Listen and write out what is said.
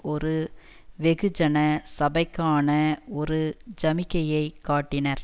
ஒரு வெகுஜன சபைக்கான ஒரு ஜமிக்கையை காட்டினர்